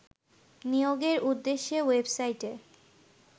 নিয়োগের উদ্দেশ্যে ওয়েবসাইটে